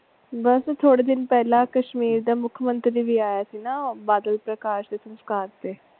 ਬਸ ਥੋੜੇ ਦਿਨ ਪਹਲੇ ਕਸ਼ੀਮਰ ਦਾ ਮੁਖਮੰਤਰੀ ਵੀ ਆਇਆ ਸੀ ਨਾ ਬਾਦਲ ਪ੍ਰਕਾਸ਼ ਦੇ ਸਸਕਾਰ ਤੇ।